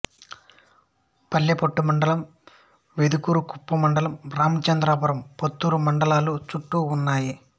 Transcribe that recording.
పల్లెపట్టు మండలం వెదురుకుప్పం మండలం రామచంద్రపురం పుత్తూరు మండలాలు చుట్టు ఉన్నాయి